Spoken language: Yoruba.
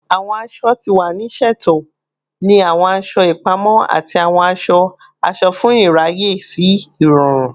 Awọn aṣọ ti wa ni ṣeto ni awọn aṣọ ipamọ ati awọn aṣọ-aṣọ fun iraye si irọrun